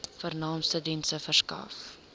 vernaamste dienste verskaf